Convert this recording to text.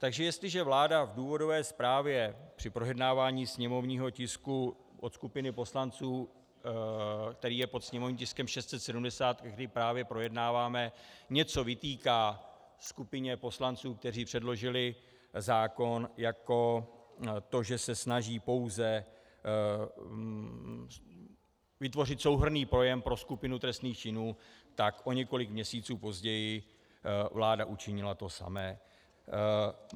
Takže jestliže vláda v důvodové zprávě při projednávání sněmovního tisku od skupiny poslanců, který je pod sněmovním tiskem 670, který právě projednáváme, něco vytýká skupině poslanců, kteří předložili zákon, jako to, že se snaží pouze vytvořit souhrnný pojem pro skupinu trestných činů, tak o několik měsíců později vláda učinila to samé.